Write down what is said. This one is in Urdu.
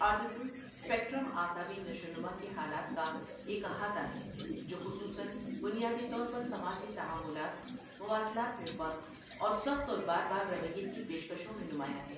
آٹزم سپیکٹرم اعصابی نشو و نما کے حالات کا ایک احاطہ ہے جو خصوصاََ بنیادی طور پر سماجی تعاملات، مواصلات میں فرق، اور سخت اور بار بار رویے کی پیش کشوں میں نمایاں ہے۔